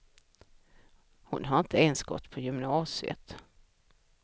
Hon har inte ens gått på gymnasiet.